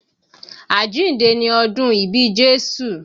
Àjíǹde ni ọ́dun ìbí Jésù